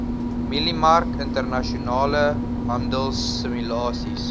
mieliemark internasionale handelsimulasies